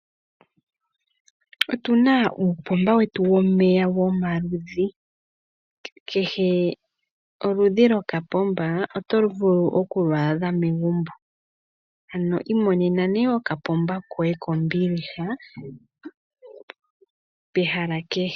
Otuna uupomba wetu womeya womaludhi. Kehe oludhi lwokapomba oto vulu okulwaadha megumbo, ano imonena okapomba koye kombiliha pehala kehe.